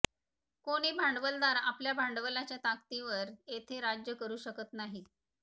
कोणी भांडवलदार आपल्या भांडवलाच्या ताकदीवर येथे राज्य करू शकत नाही